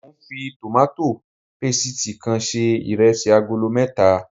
Mo ń fi tòmátò pésìti kan se iresi agolo mẹ́ta